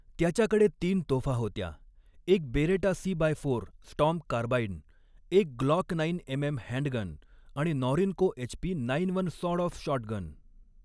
त्याच्याकडे तीन तोफा होत्या एक Beretta C by four storm carbine, एक ग्लॉक नाईन एमएम हँडगन आणि Norinco HP nine one sawed off shotgun.